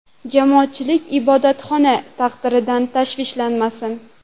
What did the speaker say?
Jamoatchilik ibodatxona taqdiridan tashvishlanmasin.